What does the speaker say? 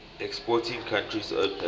exporting countries opec